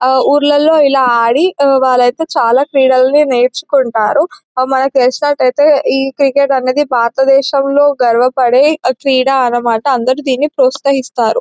ఊర్లలోనే ఇలా ఆడి వాలయితే చాలా క్రీడలు నేర్చుకుంటారు. మనకి తెలిసినట్టైతే క్రికెట్ అనేది భారతదేశంలో గర్వపడే క్రీడ అని మాట అందరూ దీన్ని ప్రోత్సహిస్తారు.